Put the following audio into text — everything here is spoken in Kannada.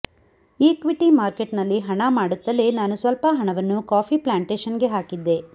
ಇಕ್ವೀಟಿ ಮಾರ್ಕೆಟ್ನಲ್ಲಿ ಹಣ ಮಾಡುತ್ತಲೇ ನಾನು ಸ್ಪಲ್ಪ ಹಣವನ್ನು ಕಾಫಿ ಪ್ಲಾಂಟೆಷನ್ಗೆ ಹಾಕಿದ್ದೆ